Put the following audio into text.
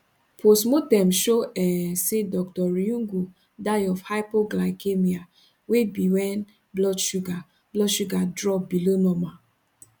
post mortem show um say dr riungu die of hypoglycaemia wey be wen blood sugar blood sugar drop below normal